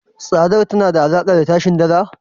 Tsadar tana da alaka da tashin Dala.